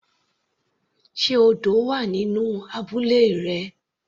Sé odò wà nínú abúlé rẹ.